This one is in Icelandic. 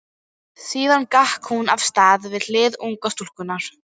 Síðan gekk hún af stað við hlið ungu stúlkunnar.